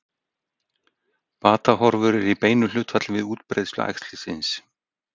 Batahorfur eru í beinu hlutfalli við útbreiðslu æxlisins.